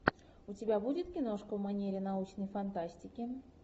у тебя будет киношка в манере научной фантастики